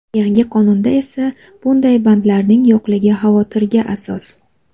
Yangi qonunda esa bunday bandlarning yo‘qligi xavotirga asos.